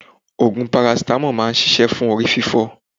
Ogun parasitamo máa ń ṣíṣe fún orí fifo.